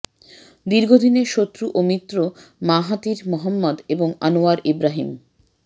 দীর্ঘদিনের শত্রু ও মিত্র মাহাথির মোহাম্মদ এবং আনোয়ার ইব্রাহীম